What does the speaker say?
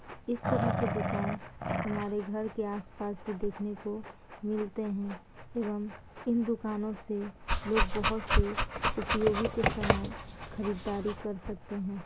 इस तरह के दुकान हमारे घर के आस-पास भी देखने को मिलते है। एवं इन दुकानों से लोग बहुत से उपयोगी की सामान खरीदारी कर सकते है।